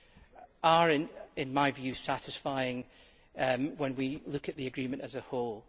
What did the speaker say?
That is, in my view, satisfying when we look at the agreement as a whole.